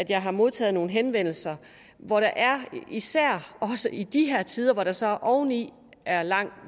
jeg har modtaget nogle henvendelser hvor der især også i de her tider hvor der så oveni er lang